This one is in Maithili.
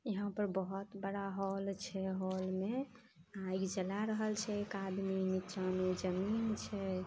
यहां पर बहोत बड़ा होल छै होल में आइग जला रहल छै एक आदमी नीचा में जमीन छै।